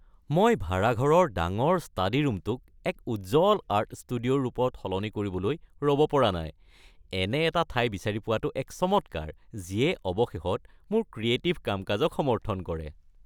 মই ভাড়াঘৰৰ ডাঙৰ ষ্টাডীৰূমটোক এক উজ্জ্বল আৰ্ট ষ্টুডিঅ'ৰ ৰূপত সলনি কৰিবলৈ ৰ'ব পৰা নাই। এনে এটা ঠাই বিচাৰি পোৱাটো এক চমৎকাৰ যিয়ে অৱশেষত মোৰ ক্ৰিয়েটিভ কাম-কাজক সমৰ্থন কৰে।